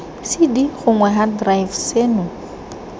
cd gongwe hard drive seno